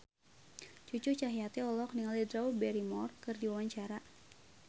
Cucu Cahyati olohok ningali Drew Barrymore keur diwawancara